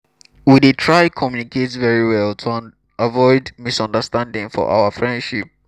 we dey try communicate very well to avoid misunderstanding for our friendship